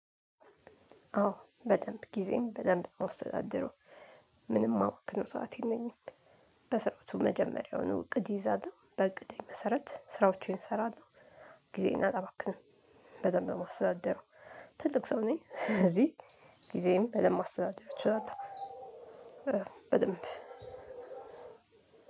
አዎ በደንብ ጊዜዬን በደንብ ነው የማስተዳድረው ምንም የማባክነው ሰዓት የለኝም። በስርዓቱ መጀመሪያውኑ እቅድ ይዛለሁ በእቅዴ መሰረት ስራዎቼን እሰራለሁ። ጊዜን አላባክንም። በደንብ ነው የማስተዳደረው። ትልቅ ሰው ነኝ ስለዚህ ጊዜዬን በደምብ ማስተዳደር እችላለሁ። በደንብ